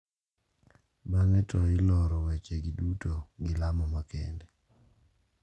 Bang`e to iloro wechegi duto gi lamo makende.